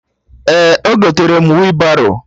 Ee, egotere m wị baro